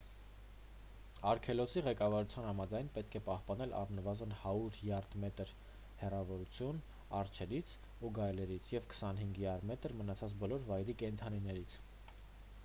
արգելոցի ղեկավարության համաձայն՝ պետք է պահպանել առնվազն 100 յարդ/մետր հեռավորության արջերից ու գայլերից և 25 յարդ/մետր՝ մնացած բոլոր վայրի կենդանիներից: